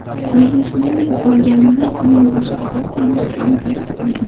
Biznesmenning o‘lganini uning boshqa bir tanishi ham tasdiqlagan.